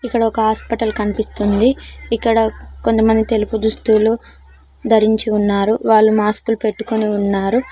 ఇక్కడ ఒక హాస్పిటల్ కనిపిస్తుంది ఇక్కడ కొంతమంది తెలుపు దుస్తులు ధరించి ఉన్నారు వాళ్ళు మాస్కులు పెట్టుకొని ఉన్నారు.